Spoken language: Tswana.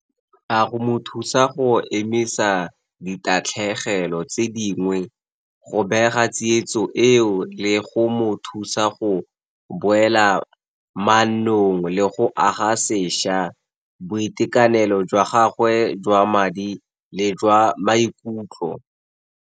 A go mo thusa go emisa ditatlhegelo tse dingwe go bega tsietso eo, le go mo thusa go boela mannong, le go aga sešwa boitekanelo jwa gagwe jwa madi le jwa maikutlo?